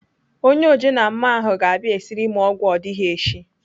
Onye ojenammụọ ahụ ga-abịa esiri m ọgwụ odigheshi.